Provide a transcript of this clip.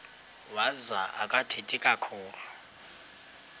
wazo akathethi kakhulu